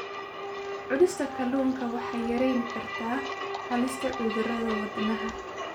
Cunista kalluunka waxay yarayn kartaa halista cudurrada wadnaha.